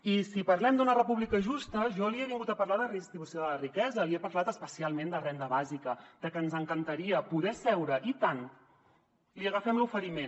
i si parlem d’una república justa jo li he vingut a parlar de redistribució de la riquesa li he parlat especialment de renda bàsica de que ens encantaria poder seure i tant li agafem l’oferiment